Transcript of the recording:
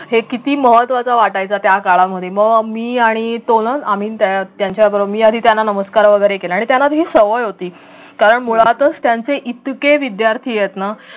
हे किती महत्वाचं वाटायचं त्या काळामध्ये मग मी आणि तो ना आम्ही त्यांच्याबरोबर मी आधी त्यांना नमस्कार वगैरे केला आणि त्याला ही सवय होती कारण मुळातच त्यांचे इतके विद्यार्थी आहेत ना